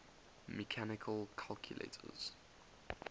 mechanical calculators